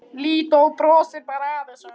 Lídó brosir bara að þessu.